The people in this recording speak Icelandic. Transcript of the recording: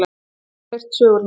Hún hefur heyrt sögurnar.